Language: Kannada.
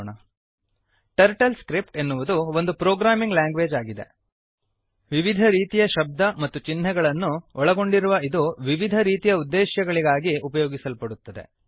ಟರ್ಟಲ್ಸ್ಕ್ರಿಪ್ಟ್ ಟರ್ಟಲ್ ಸ್ಕ್ರಿಪ್ಟ್ ಎನ್ನುವುದು ಒಂದು ಪ್ರೋಗ್ರಾಮಿಂಗ್ ಲ್ಯಾಂಗ್ವೇಜ್ ಆಗಿದೆಭಾಷೆ ವಿವಿಧ ರೀತಿಯ ಶಬ್ದ ಮತ್ತು ಚಿಹ್ನೆಗಳನ್ನು ಒಳಗೊಂಡಿರುವ ಇದು ವಿವಿಧ ರೀತಿಯ ಉದ್ದೇಶ್ಯಗಳಿಗಾಗಿ ಉಪಯೋಗಿಸಲ್ಪಡುತ್ತದೆ